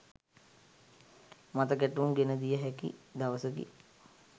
මතගැටුම් ගෙන දිය හැකි දවසකි